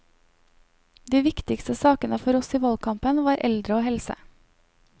De viktigste sakene for oss i valgkampen var eldre og helse.